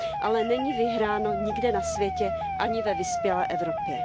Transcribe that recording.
Ale není vyhráno nikde na světě ani ve vyspělé Evropě.